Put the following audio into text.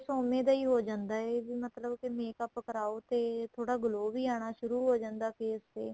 face ਉਵੇਂ ਦਾ ਹੋ ਜਾਂਦਾ ਏ ਮਤਲਬ ਕੀ makeup ਕਰਾਹੋ ਤੇ ਥੋੜਾ glow ਵੀ ਆਣਾ ਸ਼ੁਰੂ ਹੋ ਜਾਂਦਾ face ਤੇ